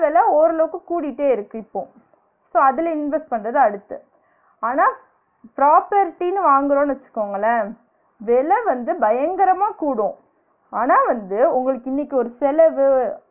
வில ஓரளவுக்கு கூடிட்டே இருக்கு இப்போம் so அதுல invest பண்றது அடுத்த ஆனா property ன்னு வாங்குறோம்னு வச்சுகோங்களேன் வெல வந்து பயங்கரமா கூடும் ஆனா வந்து உங்களுக்கு இன்னிக்கு ஒரு செலவு